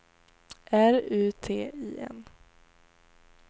R U T I N